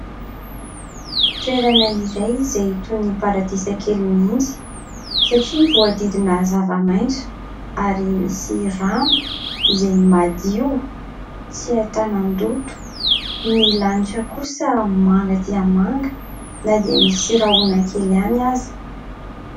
Toerana iray izay toy ny paradisa kely mihitsy, satria voadidina zavamaitso ary misy rano izay madio tsy ahitan-doto. Ny lanitra kosa manga dia manga na dia misy rahona kely ihany aza.